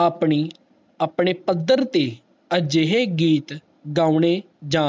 ਆਪਣੀ ਆਪਣੇ ਪੱਧਰ ਤੇ ਅਜਿਹੇ ਗੀਤ ਗਾਉਣੇ ਜਾ